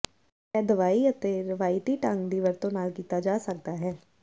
ਇਹ ਦਵਾਈ ਅਤੇ ਰਵਾਇਤੀ ਢੰਗ ਦੀ ਵਰਤੋ ਨਾਲ ਕੀਤਾ ਜਾ ਸਕਦਾ ਹੈ